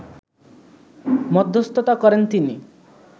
মধ্যস্থতা করেন তিনি